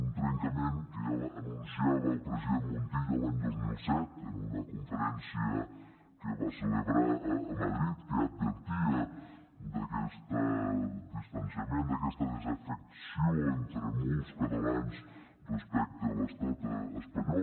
un trencament que ja anunciava el president montilla l’any dos mil set en una conferència que va celebrar a madrid que advertia d’aquest distanciament d’aquesta desafecció entre molts catalans respecte a l’estat espanyol